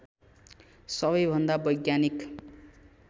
सबैभन्दा वैज्ञानिक